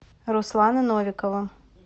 руслана новикова